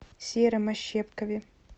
сером ощепкове